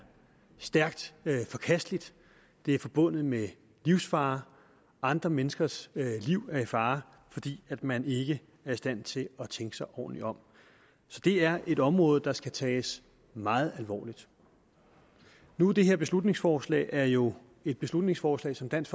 stærkt forkasteligt det er forbundet med livsfare andre menneskers liv er i fare fordi man ikke er i stand til at tænke sig ordentligt om så det er et område der skal tages meget alvorligt nu er det her beslutningsforslag jo et beslutningsforslag som dansk